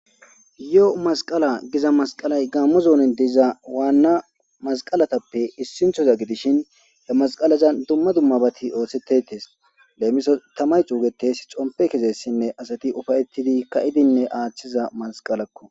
yoo masqala giza masqalay gammo zoonin diiza waanna masqalatappe issinthoza gidishin he masqalaza dumma dummabati oothsettetes leemiso tamay xuugetes xompe kezessinne asati ufayettidi ka'idinne aaththiza masqalakko